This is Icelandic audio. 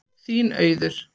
Þín, Auður.